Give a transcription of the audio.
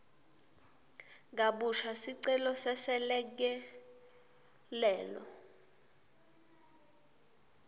kabusha sicelo seselekelelo